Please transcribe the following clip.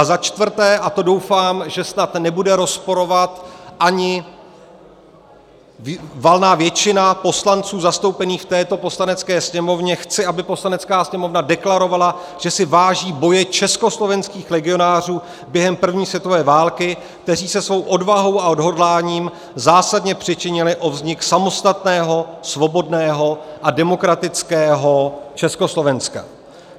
A za čtvrté - a to, doufám, že snad nebude rozporovat ani valná většina poslanců zastoupených v této Poslanecké sněmovně - chci, aby Poslanecká sněmovna deklarovala, že si váží boje československých legionářů během první světové války, kteří se svou odvahou a odhodláním zásadně přičinili o vznik samostatného, svobodného a demokratického Československa.